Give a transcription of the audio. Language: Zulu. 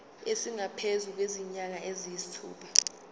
esingaphezu kwezinyanga eziyisithupha